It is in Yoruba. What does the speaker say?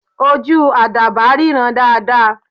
Ojú àdàbà ríran dáadáa.